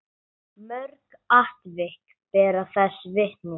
Mörg atvik bera þess vitni.